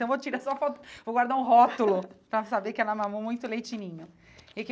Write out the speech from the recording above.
Então vou tirar só foto, vou guardar um rótulo para saber que ela mamou muito leite de ninho e que.